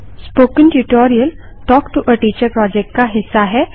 spoken tutorial talk to a teacher project का हिस्सा है